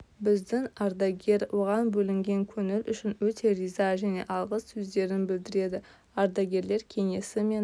біздің ардагер оған бөлінген көңіл үшін өте риза және алғыс сөздерін білдіреді ардагерлер кеңесі мен